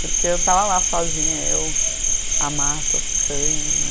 Porque eu estava lá sozinha, eu, a Marta, os cães, né.